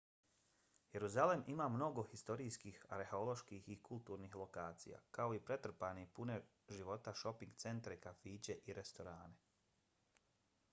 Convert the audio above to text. jeruzalem ima mnogo historijskih arheoloških i kulturnih lokacija kao i pretrpane i pune života šoping centre kafiće i restorane